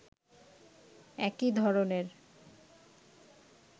একই ধরনের